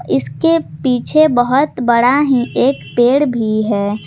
इसके पीछे बहोत बड़ा ही एक पेड़ भी है।